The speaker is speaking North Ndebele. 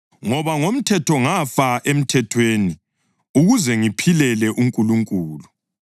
Ngoba ngomthetho ngafa emthethweni ukuze ngiphilele uNkulunkulu.